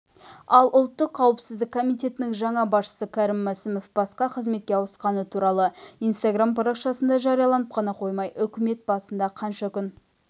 ал ұлттық қауіпсіздік комитетінің жаңа басшысы кәрім мәсімов басқа қызметке ауысқаны туралы инстаграм парақшасында жариялап қана қоймай үкімет басында қанша күн